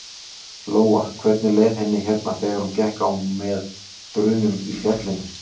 Lóa: Hvernig leið henni hérna þegar gekk á með drunum í fjallinu?